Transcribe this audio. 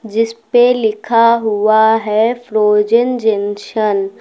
जिस पे लिखा हुआ है फ्रोजन जंशन ।